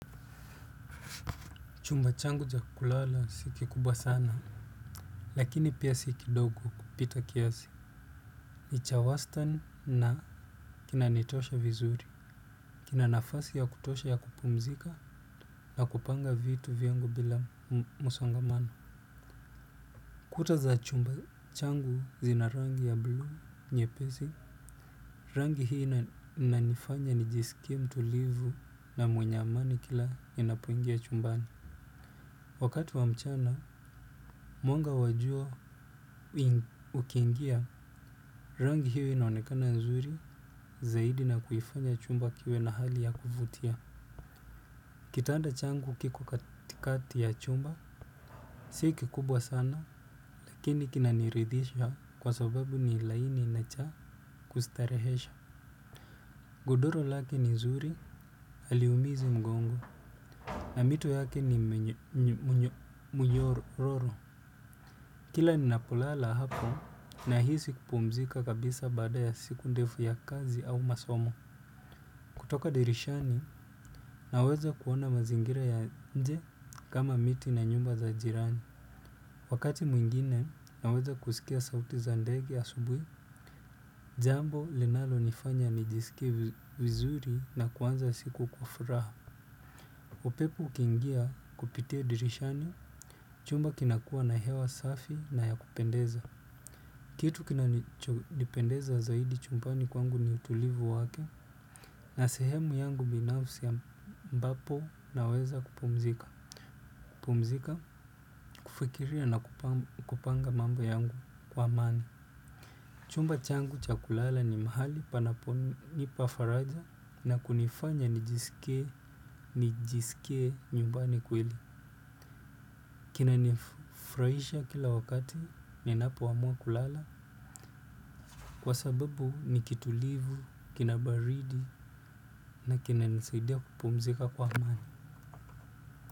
Chumba changu cha kulala si ki kubwa sana. Lakini pia si kidogo kupita kiasi. Ni chawastan na kinanitosha vizuri. Kuna nafasi ya kutosha ya kupumzika na kupanga vitu vingi bila msongamano. Kuta za chumba changu zina rangi ya blue nyepezi. Rangi hii inanifanya nijisikie mtulivu na mwenye amani kila ninapoingia chumbani. Wakati wa mchana, mwanga wa jua ukingia rangi hiyo inaonekana nzuri zaidi na kuifanya chumba kiwe na hali ya kufutia. Kitanda changu kiko katikati ya chumba, si kikubwa sana lakini kinaniridhisha kwa sababu ni laini na cha kustarehesha. Godoro lake ni nzuri aliumizi mgongo na mito yake ni mnyororo. Kila ninapolala hapo nahisi kupumzika kabisa baada ya siku ndefu ya kazi au masomo. Kutoka dirishani aweze kuona masingira ya nche kama miti na nyumba za jirani. Wakati mwingine naweza kusikia sauti za ndege asubui, jambo linalo nifanya nijisikie wizuri na kuanza siku kwa furaha. Upepo ukiingia kupitia dirishani jumba kunakuwa na hewa safi na ya kupendeza. Kitu kinachupendeza zaidi chumpani kwangu ni utulivu wake. Na sehemu yangu binafsi mbapo na weza kupumzika. Kupumzika kufikiria na kupanga mambo yangu kwa amani. Chumba changu cha kulala ni mahali panaponipa faraja na kunifanya nijisikie nyumbani kweli. Kinanifuraisha kila wakati ninapo amua kulala. Kwa sababu ni kitulivu, kinabaridi na kinanizaidia kupumzika kwa amani.